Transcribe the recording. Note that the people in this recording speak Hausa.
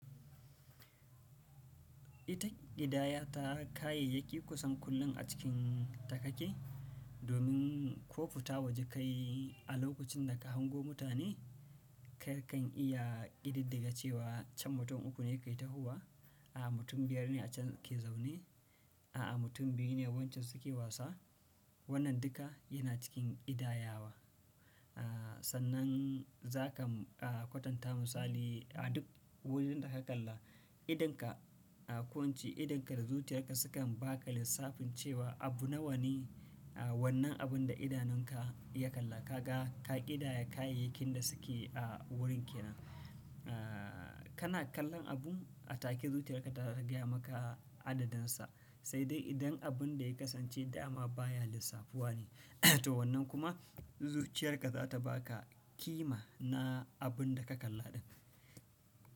Ita ƙidaya ta kayayyaki kusan kullum a cikin ta kaki. Domin ko fita waje kayi a lokacin da ka hango mutane, ka kan iya ƙididdige cewa can mutum uku ne ke tahowa, a'a mutum biyar ne a can ke zaune, a'a mutum biyu ne wacce suke wasa. Wannan duka yana cikin ƙidayawa. Aaa sannan za ka kwatanta misali a duk wurin da ka kalla, idonka. A kwance idonka da zuciyarka sukan ba ka lissafin cewa abu nawa ne, a wannan abun da idanunka ya kalla, ka ga, ka ƙidaya kayayyakin da suke a wurin ke nan. Aaa kana kallon abun a take zuciyarka ta gaya maka adadinsa, sai dai idan abun da ya kasance dama baya lissafuwa ne. To wannan kuma, zuciyarka za ta ba ka kima na abun da ka kalla ɗin.